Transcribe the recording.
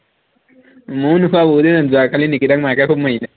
মইও নোখোৱা বহুত দিন হল, যোৱাকালি নিকিতাক মাকে খুউব মাৰিলে